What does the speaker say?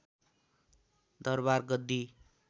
दरवार गद्दी